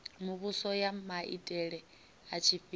muvhuso ya maitele a tshifhinga